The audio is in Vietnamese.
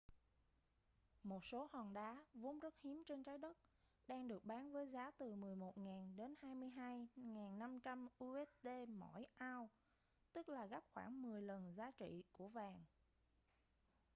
một số hòn đá vốn rất hiếm trên trái đất đang được bán với giá từ 11.000 đến 22.500 usd mỗi ounce tức là gấp khoảng mười lần giá trị của vàng